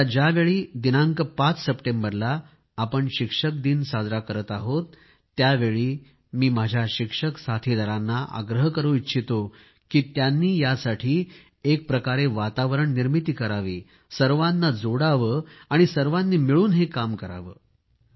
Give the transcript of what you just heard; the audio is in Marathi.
आता ज्यावेळी दिनांक 5 सप्टेंबरला शिक्षक दिवस साजरा करीत आहोत त्यावेळी मी माझ्या शिक्षक साथीदारांना आग्रह करू इच्छितो की त्यांनी यासाठी एक प्रकारे वातावरण निर्मिती करावी सर्वांना जोडावे आणि सर्वांनी मिळून हे कार्य करावे